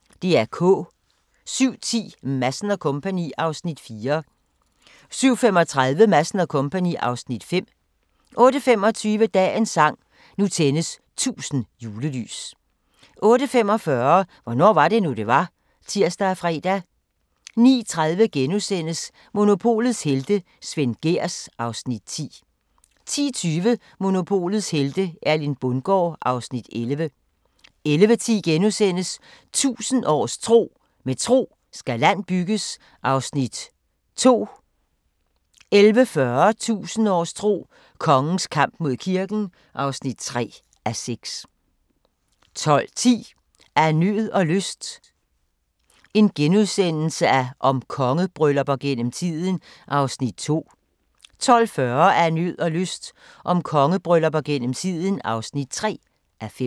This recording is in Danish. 07:10: Madsen & Co. (Afs. 4) 07:35: Madsen & Co. (Afs. 5) 08:25: Dagens sang: Nu tændes 1000 julelys 08:45: Hvornår var det nu, det var? (tir og fre) 09:30: Monopolets helte - Svend Gehrs (Afs. 10)* 10:20: Monopolets helte - Erling Bundgaard (Afs. 11) 11:10: 1000 års tro: Med tro skal land bygges (2:6)* 11:40: 1000 års tro: Kongens kamp mod kirken (3:6) 12:10: Af nød og lyst – om kongebryllupper gennem tiden (2:5)* 12:40: Af nød og lyst – om kongebryllupper gennem tiden (3:5)